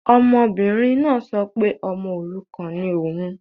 Ọmọbìnrin náà sọ pé ọmọ òrukàn ni òun